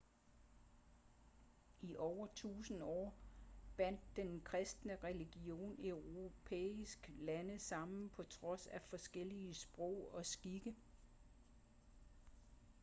i over tusinde år bandt den kristne religion europæiske lande sammen på trods af forskellige sprog og skikke